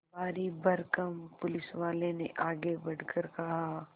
भारीभरकम पुलिसवाले ने आगे बढ़कर कहा